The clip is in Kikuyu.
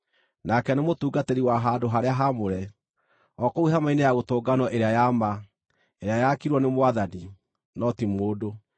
nake nĩ mũtungatĩri wa handũ-harĩa-haamũre, o kũu hema-inĩ ya gũtũnganwo ĩrĩa ya ma ĩrĩa yaakirwo nĩ Mwathani, no ti mũndũ.